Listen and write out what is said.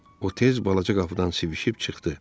O tez balaca qapıdan sıvişib çıxdı.